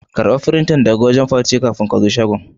karba firintan daga wajen Fati kafin ka zo shagon.